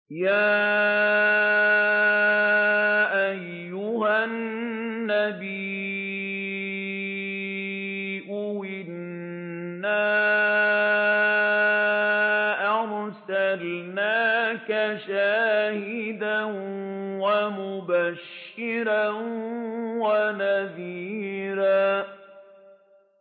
يَا أَيُّهَا النَّبِيُّ إِنَّا أَرْسَلْنَاكَ شَاهِدًا وَمُبَشِّرًا وَنَذِيرًا